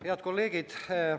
Head kolleegid!